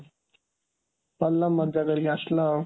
ଭଲ ମଜ୍ଜା କରିକି ଆସିଲ